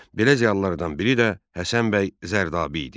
Belə ziyalılardan biri də Həsən bəy Zərdabi idi.